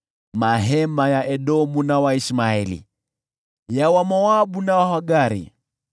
mahema ya Edomu na Waishmaeli, ya Wamoabu na Wahagari,